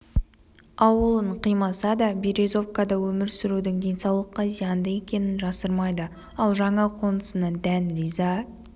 ауылын қимаса да березовкада өмір сүрудің денсаулыққа зиянды екенін жасырмайды ал жаңа қонысына дән риза